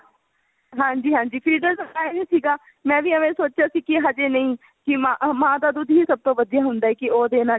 ਹਾਂਜੀ ਹਾਂਜੀ feeder ਲਗਾਇਆ ਵੀ ਸੀਗਾ ਮੈਂ ਵੀ ਐਵੇਂ ਹੀ ਸੋਚਿਆ ਸੀ ਕੀ ਹਜੇ ਨਹੀਂ ਕੀ ਮਾਂ ਮਾਂ ਦਾ ਦੁੱਧ ਹੀ ਸਭ ਤੋਂ ਵਧੀਆ ਹੁੰਦਾ ਹੈ ਕੀ ਉਹ ਦੇਣਾ